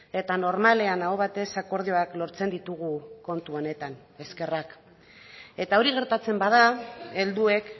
eta normalean aho batez akordioak lortzen ditugu kontu honetan eskerrak eta hori gertatzen bada helduek